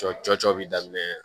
Cɔ cɔcɔ bi daminɛ